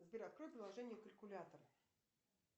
сбер открой приложение калькулятор